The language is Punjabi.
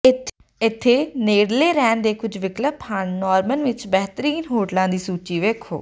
ਇੱਥੇ ਨੇੜਲੇ ਰਹਿਣ ਦੇ ਕੁੱਝ ਵਿਕਲਪ ਹਨ ਨੋਰਮਨ ਵਿੱਚ ਬਿਹਤਰੀਨ ਹੋਟਲਾਂ ਦੀ ਸੂਚੀ ਵੇਖੋ